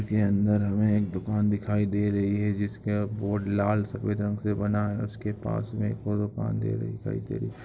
चित्र के अंदर हमें एक दूकान दिखाई दे रही है जिसके बोर्ड लाल सफ़ेद रंग से बना है उसके पास में एक ओर दुकान दे रही दिखाई दे रही।